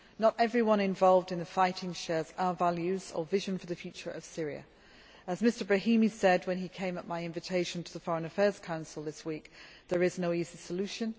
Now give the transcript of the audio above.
Not everyone involved in the fighting shares our values or our vision for the future of Syria. As Lakhdar Brahimi said when he came at my invitation to the Foreign Affairs Council this week, there is no easy solution